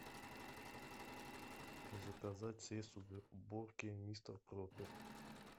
заказать средство для уборки мистер пропер